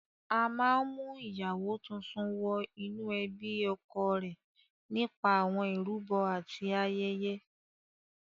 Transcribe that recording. A máa ń mú ìyàwó tuntun wọ inú ẹbí ọkọ rẹ̀ nípa àwọn ìrúbọ àti ayẹyẹ.